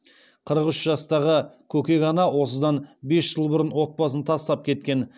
қырық үш жастағы көкек ана осыдан бес жыл бұрын отбасын тастап кеткен